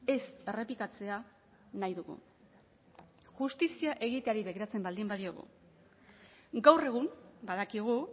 ez errepikatzea nahi dugu justizia egiteari bateratzen baldin badiogu gaur egun badakigu